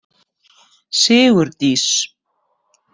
Sigurdís